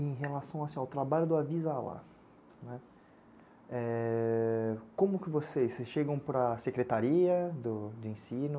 Em relação assim, ao trabalho do Avisa lá, né, é... como vocês chegam para a secretaria do, de ensino,